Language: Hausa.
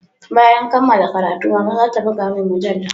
Bayan kammala karatu mama zata buga mun mujalla